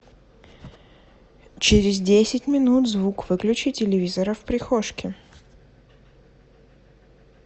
через десять минут звук выключи телевизора в прихожке